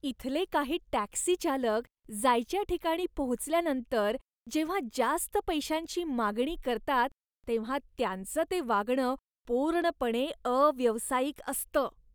इथले काही टॅक्सी चालक जायच्या ठिकाणी पोहोचल्यानंतर जेव्हा जास्त पैशांची मागणी करतात तेव्हा त्यांचं ते वागण पूर्णपणे अव्यावसायिक असतं.